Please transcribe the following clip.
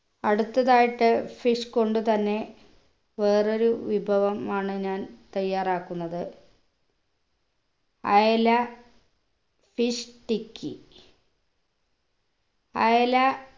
അടുത്തതായിട്ട് fish കൊണ്ടുതന്നെ വേറൊരു വിഭവം ആണ് ഞാൻ തയ്യാറാക്കുന്നത് അയല fish tikky അയല